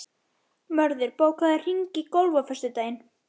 Mörður, bókaðu hring í golf á föstudaginn.